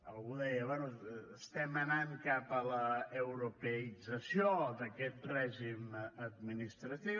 algú deia bé estem anant cap a l’europeïtzació d’aquest règim administratiu